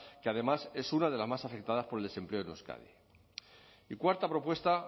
que además es una de las más afectadas por el desempleo en euskadi y cuarta propuesta